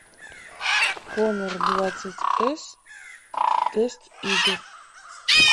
хонор двадцать эс тест игр